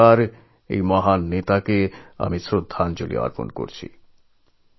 আজ আর একবার এই মহান নেতাকে আমি আমার শ্রদ্ধাঞ্জলী অর্পণ করছি